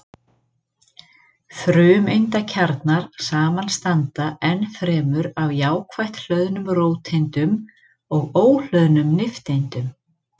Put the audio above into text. Frumeindakjarnar samanstanda ennfremur af jákvætt hlöðnum róteindum og óhlöðnum nifteindum.